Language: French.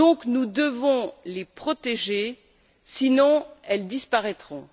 Nous devons donc les protéger, sinon elles disparaîtront.